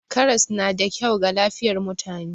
Karas na da kyau ga lafiyar mutane.